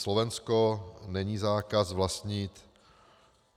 Slovensko - není zákaz vlastnit.